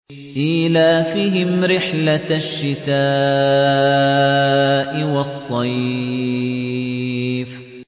إِيلَافِهِمْ رِحْلَةَ الشِّتَاءِ وَالصَّيْفِ